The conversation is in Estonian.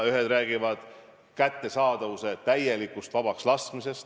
Ühed räägivad kättesaadavuse puhul täielikust vabakslaskmisest.